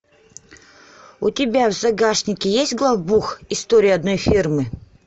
у тебя в загашнике есть главбух история одной фирмы